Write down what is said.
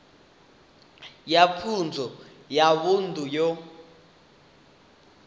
ya pfunzo ya vunḓu yo